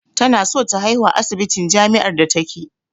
Tana so ta haihu a asibitin jamiár da take